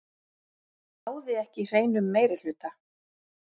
Náði ekki hreinum meirihluta